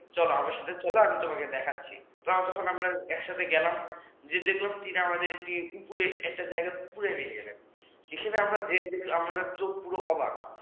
চলো আমার সাথে চলো আমি তোমাকে দেখাচ্ছি যখন আমরা একসাথে গেলাম তিনি আমাদের উপরে একটা জায়গা নিয়ে গেলেন সেখানে আমাদের চোখ পুরো অবাক